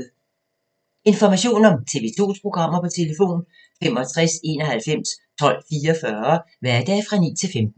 Information om TV 2's programmer: 65 91 12 44, hverdage 9-15.